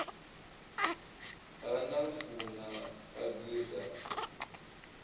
ha nafu na agri sa